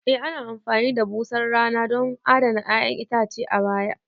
E ana amfani da busar rana don adana 'ya'yan itace a baya